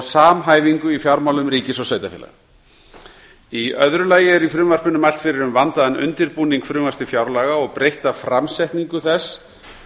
samhæfingu í fjármálum ríkis og sveitarfélaga í öðru lagi er í frumvarpinu mælt fyrir um vandaðan undirbúning frumvarps til fjárlaga og breytta framsetningu þess